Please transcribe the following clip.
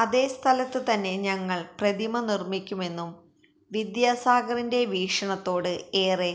അതേ സ്ഥലത്ത് തന്നെ ഞങ്ങൾ പ്രതിമ നിർമ്മിക്കുമെന്നും വിദ്യാസാഗറിന്റെ വീക്ഷണത്തോട് ഏറെ